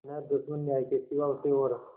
न दुश्मन न्याय के सिवा उसे और